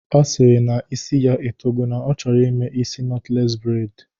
Ọ sịrị na isi ya etogo na ọ chọrọ ime isi nọtlees breid